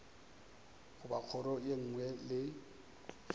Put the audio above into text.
goba kgoro ye nngwe le